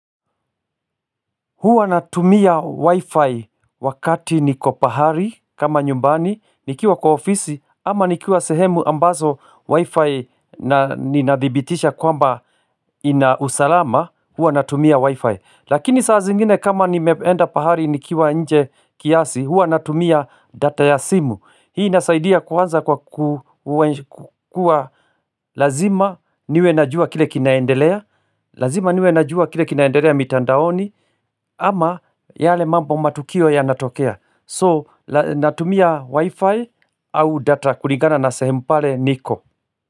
Huwa natumia wi-fi wakati niko pahali kama nyumbani nikiwa kwa ofisi ama nikiwa sehemu ambazo wi-fi ninadhibitisha kwamba ina usalama huwa natumia wi-fi lakini saa zingine kama nimeenda pahali nikiwa nje kiasi huwa natumia data ya simu hii nasaidia kuanza kwa kukua Lazima niwe najua kile kinaendelea Lazima niwe najua kile kinaendelea mitandaoni ama yale mambo matukio yanatokea So natumia wi-fi au data kulingana na sehemu pale niko.